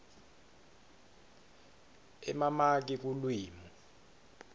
emamaki lulwimi